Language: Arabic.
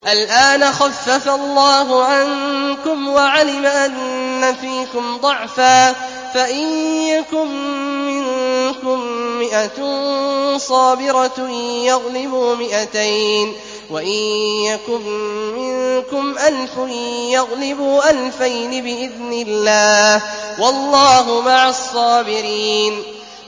الْآنَ خَفَّفَ اللَّهُ عَنكُمْ وَعَلِمَ أَنَّ فِيكُمْ ضَعْفًا ۚ فَإِن يَكُن مِّنكُم مِّائَةٌ صَابِرَةٌ يَغْلِبُوا مِائَتَيْنِ ۚ وَإِن يَكُن مِّنكُمْ أَلْفٌ يَغْلِبُوا أَلْفَيْنِ بِإِذْنِ اللَّهِ ۗ وَاللَّهُ مَعَ الصَّابِرِينَ